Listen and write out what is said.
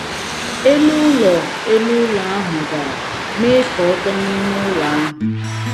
Elu ụlọ Elu ụlọ ahụ dara, mee ka ọ tọ n’ime ụlọ ahụ.